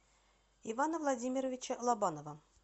ивана владимировича лобанова